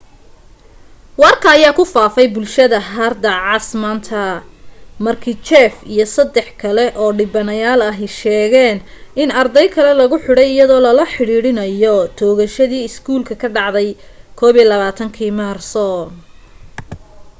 warka ayaa ku faafay bulshada harda cas manta markii jeff iyo sadex kale oo dhibanayaan ahi sheegeen in ardey kale lagu xidhay iyadoo lala xidhiidhinayo toogashadii iskoolka ka dhacday 21kii maarso